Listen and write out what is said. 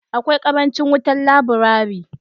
Akwai karancin wutan laburari.